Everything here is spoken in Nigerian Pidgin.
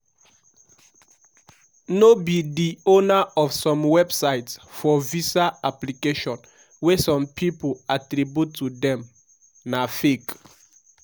no be di owner of some websites for visa application wey some pipo attribute to dem na fake.